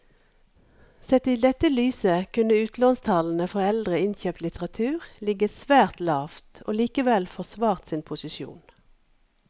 Sett i dette lyset kunne utlånstallene for eldre innkjøpt litteratur ligget svært lavt og likevel forsvart sin posisjon.